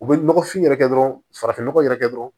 U bɛ nɔgɔfin yɛrɛ kɛ dɔrɔn farafin nɔgɔ yɛrɛ kɛ dɔrɔn